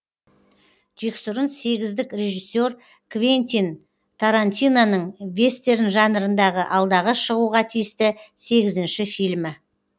жексұрын сегіздік режиссер квентин тарантиноның вестерн жанрындағы алдағы шығуға тиісті сегізінші фильмі